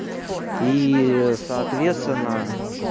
и соответственно